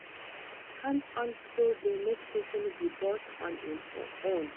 Hands-on skill de make persin be boss on im own